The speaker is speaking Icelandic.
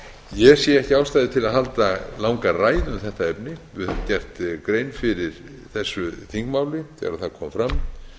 ég sé ekki ástæðu til að halda langa ræðu um þetta efni við höfum gert grein fyrir þessu þingmáli þegar það kom fram